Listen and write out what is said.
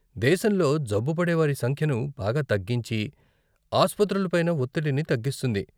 దేశంలో జబ్బుపడే వారి సంఖ్యను బాగా తగ్గించి, ఆస్పత్రులపైన ఒత్తిడిని తగ్గిస్తుంది.